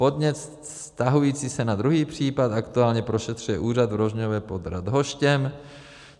Podnět vztahující se na druhý případ aktuálně prošetřuje úřad v Rožnově pod Radhoštěm.